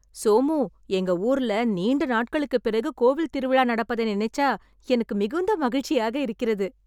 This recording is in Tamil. சோமு, எங்க ஊர்ல நீண்ட நாட்களுக்குப் பிறகு கோவில் திருவிழா நடப்பதை நினைச்சா எனக்கு மிகுந்த மகிழ்ச்சியாக இருக்கிறது